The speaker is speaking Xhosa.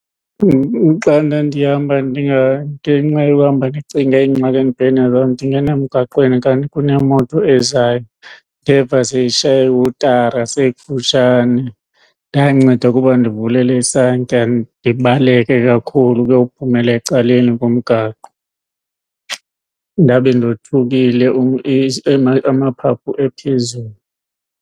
Xa ndandihamba ngenxa yokuhamba ndicinge iingxaki ebhekene nazo ndingena emgaqweni kanti kunemoto ezayo. Ndeva seyishaya ihutara seyikufutshane. Ndanceda ukuba ndivulele isantya ndibaleke kakhulu ukuyo phumela ecaleni komgaqo ndabe ndothukile amaphaphu ephezulu.